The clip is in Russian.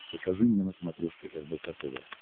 покажи мне на смотрешке рбк тв